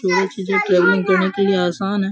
तीनों चीजे ट्रेनिंग देने के लिए आसान है।